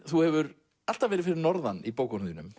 þú hefur alltaf verið fyrir norðan í bókum þínum